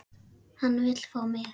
Hann vill fá mig.